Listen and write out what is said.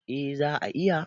A za a iya